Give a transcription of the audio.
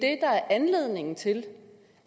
er anledningen til